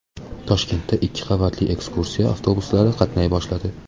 Toshkentda ikki qavatli ekskursiya avtobuslari qatnay boshladi .